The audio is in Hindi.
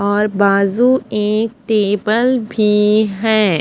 और बाजू एक टेबल भी है।